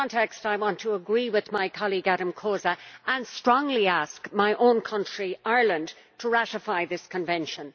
In this context, I would agree with my colleague Adám Kósa, and strongly ask my own country, Ireland, to ratify this Convention.